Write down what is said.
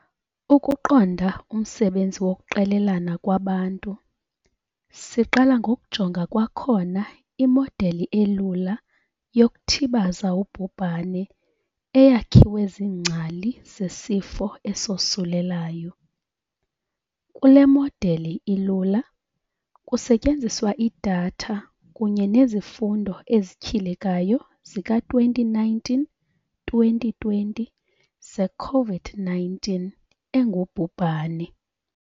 Ukuqonda umsebenzi wokuqelelana kwabantu, siqala ngokujonga kwakhona imodeli elula yokuthibaza ubhubhane eyakhiwe ziingcali zesifo esosulelayo. Kule modeli ilula, kusetyenziswa idatha kunye nezifundo ezityhilekayo zika-2019 - 2020 ze-Covid-19 engubhubhane.